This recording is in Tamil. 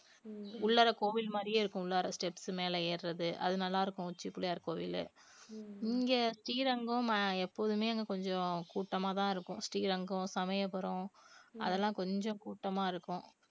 உள்ளாற கோவில் மாதிரியே இருக்கும் உள்ளாற steps மேல ஏறுறது அது நல்லா இருக்கும் உச்சி பிள்ளையார் கோவில் இங்க ஸ்ரீரங்கம் அஹ் எப்போதுமே அங்க கொஞ்சம் கூட்டமாதான் இருக்கும் ஸ்ரீரங்கம் சமயபுரம் அதெல்லாம் கொஞ்சம் கூட்டமா இருக்கும்